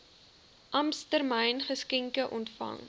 ampstermyn geskenke ontvang